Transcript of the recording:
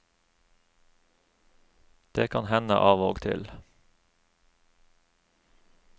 Det kan hende av og til.